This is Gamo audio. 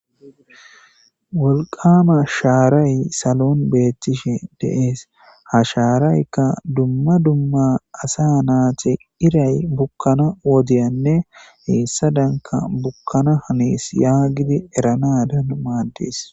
Wolqama sharayi salon betishe des ha sharayika duma duma asa nayiti irayi bukana wodiyanne hesadanka bukana hanes yaganas mades